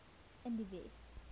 in die wes